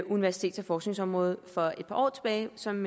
universitets og forskningsområdet fra et par år tilbage som